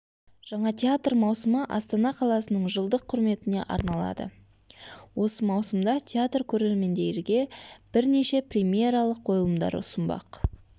жаңа театр маусымы астана қаласының жылдық құрметіне арналады осы маусымда театр көрермендерге біршене премьералық қойылымдар ұсынбақ